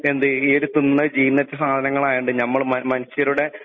ഈയൊരു തിന്ന ജീർണിച്ച സദനകളായൊണ്ട് ഞമ്മള് മനുഷ്യരുടെ